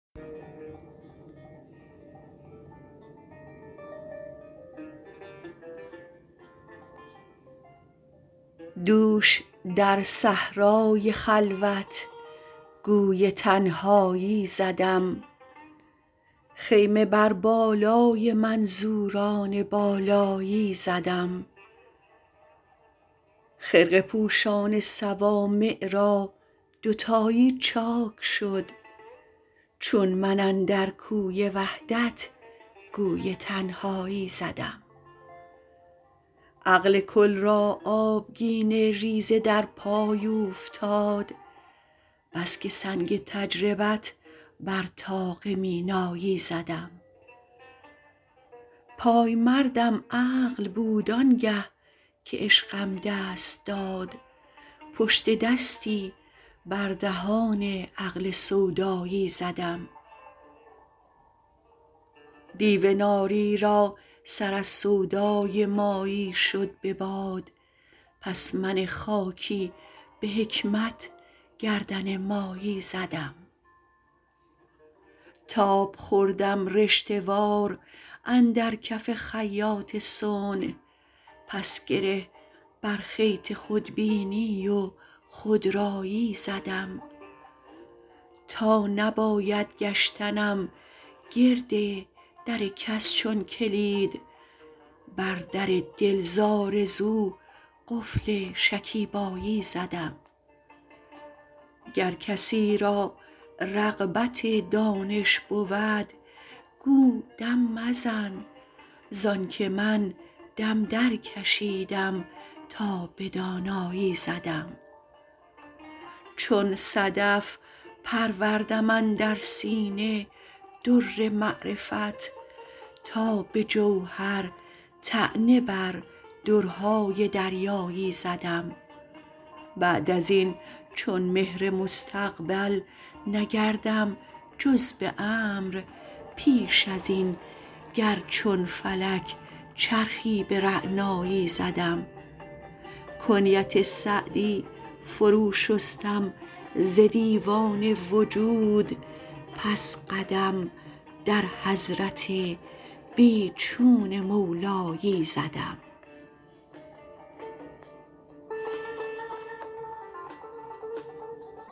دوش در صحرای خلوت گوی تنهایی زدم خیمه بر بالای منظوران بالایی زدم خرقه پوشان صوامع را دوتایی چاک شد چون من اندر کوی وحدت گوی تنهایی زدم عقل کل را آبگینه ریزه در پای اوفتاد بس که سنگ تجربت بر طاق مینایی زدم پایمردم عقل بود آنگه که عشقم دست داد پشت دستی بر دهان عقل سودایی زدم دیو ناری را سر از سودای مایی شد به باد پس من خاکی به حکمت گردن مایی زدم تاب خوردم رشته وار اندر کف خیاط صنع پس گره بر خیط خودبینی و خودرایی زدم تا نباید گشتنم گرد در کس چون کلید بر در دل ز آرزو قفل شکیبایی زدم گر کسی را رغبت دانش بود گو دم مزن زآن که من دم درکشیدم تا به دانایی زدم چون صدف پروردم اندر سینه در معرفت تا به جوهر طعنه بر درهای دریایی زدم بعد از این چون مهر مستقبل نگردم جز به امر پیش از این گر چون فلک چرخی به رعنایی زدم کنیت سعدی فرو شستم ز دیوان وجود پس قدم در حضرت بی چون مولایی زدم